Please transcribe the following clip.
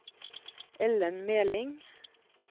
Ellen Meling